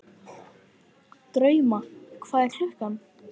Drauma, hvað er klukkan?